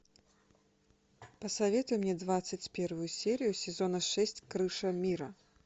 посоветуй мне двадцать первую серию сезона шесть крыша мира